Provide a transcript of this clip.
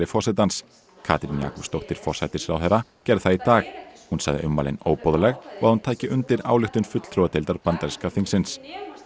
forsetans Katrín Jakobsdóttir forsætisráðherra gerði það í dag hún sagði ummælin óboðleg og að hún tæki undir ályktun fulltrúadeildar bandaríska þingsins